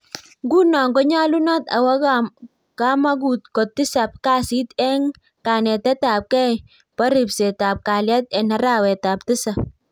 Ngunoo konyalunot awoo kamagut kotisap kasiit eng kanetet ab gei poo ripset ab kalyet eng arawet tisap